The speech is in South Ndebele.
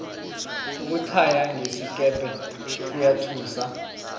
ukuthaya ngesikepe kuyathusa